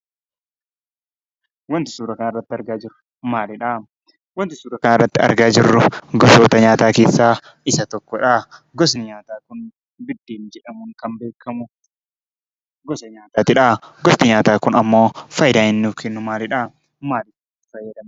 Wanti suuraa kanarratti argaa jirru maalidha? Wanti suuraa kanarratti argaa jirru gosoota nyaataa keessaa isa tokko dha. gosti nyaataa kun Biddeen jedhamuun kan beekamu dha. gosti nyaataa kun faayidaa inni nuuf kennu maalidha? Maal fayyada?